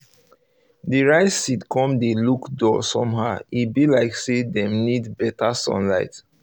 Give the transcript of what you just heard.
the rice seed come dey look dull somehow e be like say them need better sunlight